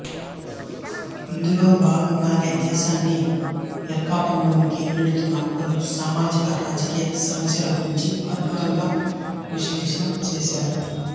ఇందులో భాగంగానే దేశాన్ని ఇరకాటంలోనికి నెడుతున్న పలు సామాజిక రాజకీయ సమస్యల గురించి అత్యద్భుతంగా విశ్లేషణ చేశారు